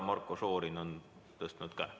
Marko Šorin on tõstnud käe.